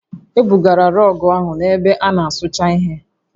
E bugara rọọgụ ahụ na ebe a na-asụcha ihe